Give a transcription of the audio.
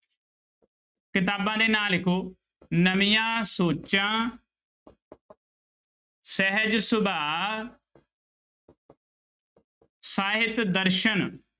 ਕਿਤਾਬਾਂ ਦੇ ਨਾਂ ਲਿਖੋ ਨਵੀਆਂ ਸੋਚਾਂ ਸਹਿਜ ਸੁਭਾ ਸਾਹਿਤ ਦਰਸ਼ਨ